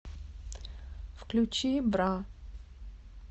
включи бра